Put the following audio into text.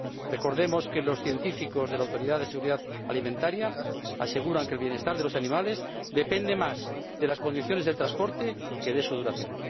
Recordemos que los científicos de la Autoridad Europea de Seguridad Alimentaria aseguran que el bienestar de los animales depende más de las condiciones del transporte que de su duración.